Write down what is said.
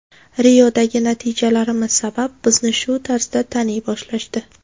Riodagi natijalarimiz sabab bizni shu tarzda taniy boshlashdi.